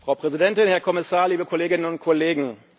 Frau Präsidentin, Herr Kommissar, liebe Kolleginnen und Kollegen!